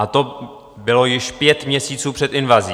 A to bylo již pět měsíců před invazí.